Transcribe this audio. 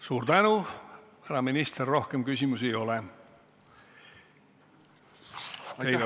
Suur tänu, härra minister!